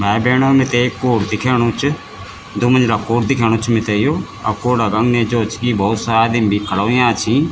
भाई-भैणा मिते एक कूड दिख्याणु च दुमंजिला कूड दिख्याणु च मिथे यु अर कूड़ा क अगने जो च की बहौत सारा आदिम भी खड़ा हुयां छी।